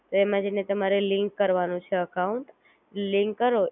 સૌ પ્રથમ તમારી જે Bank હોય છે,